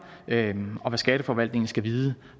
om hvad skatteforvaltningen skal vide